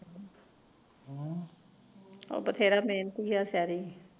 ਆਹੋ ਬਥੇਰਾ ਮਿਹਨਤੀ ਐ ਸ਼ੈਰੀ